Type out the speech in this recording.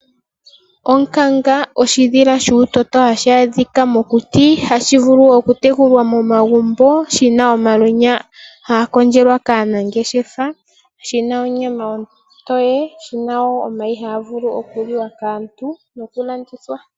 Onkanga oshidhila shuutoto hashi adhika mokuti, hashi vulu oku tekulwa momagumbo, shi na omalwenya haga kondjelwa kaanangeshefa, shi na onyama ontoye, shi na wo omayi haga vulu oku liwa kaantu noku landithwa.